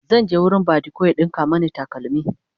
zan je wurin badiko ya ɗinka Mani takalmi